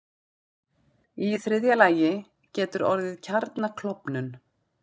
Í þriðja lagi getur orðið kjarnaklofnun.